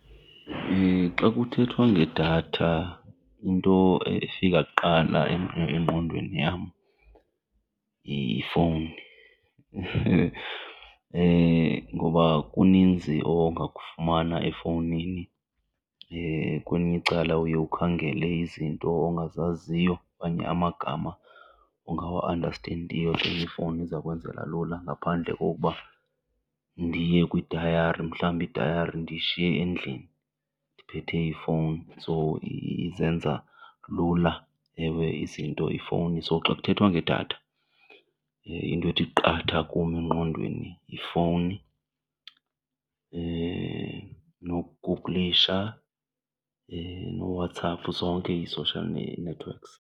Xa kuthethwa ngedatha into efika kuqala engqondweni yam yifowuni ngoba kuninzi ongakufumana efowunini. Kwelinye icala uye ukhangele izinto ongazaziyo okanye amagama ongawa-andastendiyo then ifowuni iza kwenzela lula ngaphandle kokuba ndiye kwidayari, mhlawumbi itayari ndiyishiye endlini ndiphethe ifowuni. So izenza lula ewe izinto ifowuni. So xa kuthethwa ngedatha into ethi qatha kum engqondweni yifowuni, nokuguglisha, nooWhatsApp, zonke ii-social networks.